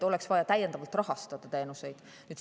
Oleks vaja täiendavalt rahastada neid teenuseid.